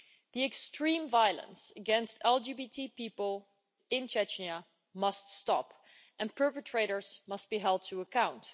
The extreme violence against LGBTI people in Chechnya must stop, and perpetrators must be held to account.